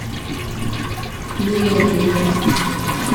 миллениум